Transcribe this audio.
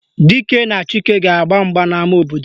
Dike na Chike ga-agba mgba n'ama obodo